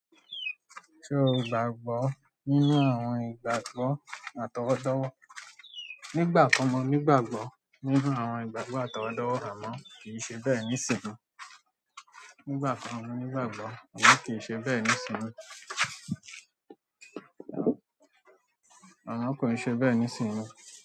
Ṣe ó gbàgbọ́ nínú àwọn ìgbàgbọ́ atọwọdọwọ? Nigbakan mo ní ìgbàgbọ́ nínú àwọn ìgbàgbọ́ àtọwọ́dọ́wọ́, àmọ́ kí n ṣe be ni ìsinsìnyí o nígbà kan mo nígbàgbọ́ àmọ́ kì í ṣe bẹ́ẹ̀ nísìnyí. Àmọ́ kí n ṣe be nísìnyí o.